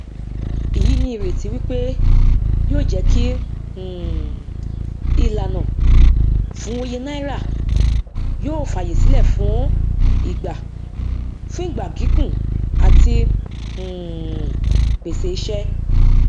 èyí ní ìrètí wípé yóò jẹ kí um ìlànà fún òye náírà yóò fayasílẹ fún ìgbà fún ìgbà gígùn àti um pèsè ìṣe